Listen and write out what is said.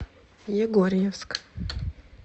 егорьевск